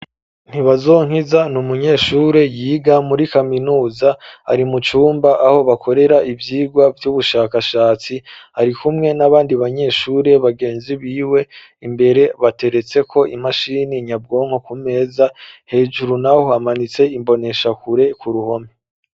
Ntibazonkiza ni umunyeshure yiga muri kaminuza, ari mu cumba aho bakorera ivyigwa vy'ubushakashatsi, arikumwe n'abandi banyeshure bagenzi biwe, imbere bateretseko imashini nyabwonko kumeza, hejuru naho hamanitse imboneshakure ku ruhome.